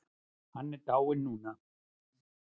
Hann er dáinn núna.